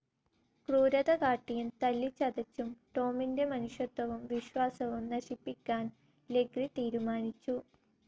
ക്രൂരത കാട്ടിയും തല്ലിച്ചതച്ചും ടോമിന്റെ മനുഷ്യത്വവും വിശ്വാസവും നശിപ്പിക്കൻ ലെഗ്രി തീരുമാനിച്ചു.